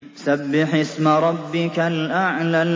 سَبِّحِ اسْمَ رَبِّكَ الْأَعْلَى